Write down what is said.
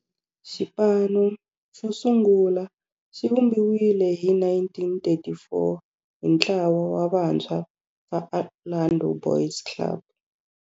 Xipano xosungula xivumbiwile hi 1934 hi ntlawa wa vantshwa va Orlando Boys Club.